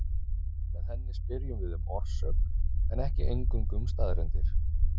Með henni spyrjum við um orsök en ekki eingöngu um staðreyndir.